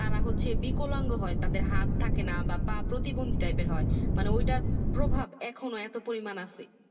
তারা হচ্ছে বিকলাঙ্গ হয় তাদের হাত থাকে না বা পা প্রতিদ্বন্দ্বী Tiep এর হয় মানে ওই তার প্রভাব এখনো এত পরিমান আছে